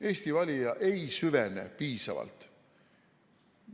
Eesti valija ei süvene piisavalt.